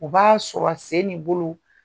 O b'a sɔrɔ a sen ni bolo